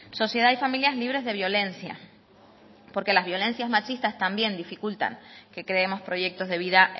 sociedad y familias libres de violencia porque las violencias machistas también dificultan que creemos proyectos de vida